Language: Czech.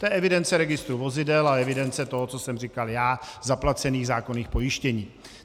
To je evidence registru vozidel a evidence toho, co jsem říkal já, zaplacených zákonných pojištění.